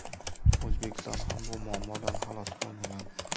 O‘zbekiston ham bu muammodan xalos bo‘lmagan.